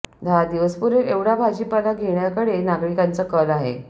दहा दिवस पुरेल एवढा भाजीपाला घेण्याकडे नागरिकांचा कल आहे